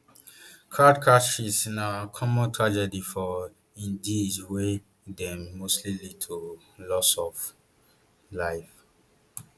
crowd crushes na common tragedy for indiea wey dem mostly lead to loss of lives